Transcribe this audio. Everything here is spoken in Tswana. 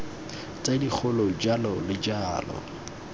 tse dikgolo jalo le jalo